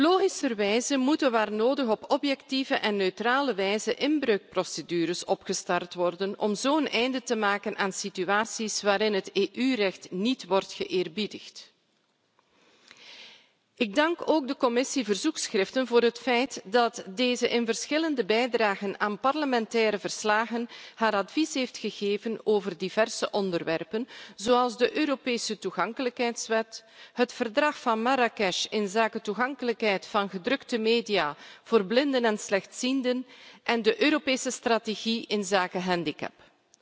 Logischerwijze moeten waar nodig op objectieve en neutrale wijze inbreukprocedures opgestart worden om zo een einde te maken aan situaties waarin het EU recht niet wordt geëerbiedigd. Ik dank ook de Commissie verzoekschriften voor het feit dat deze in verschillende bijdragen aan parlementaire verslagen haar advies heeft gegeven over diverse onderwerpen, zoals de Europese toegankelijkheidswet, het Verdrag van Marrakesh tot bevordering van de toegang tot gepubliceerde werken voor blinden en slechtzienden en de Europese strategie inzake handicaps.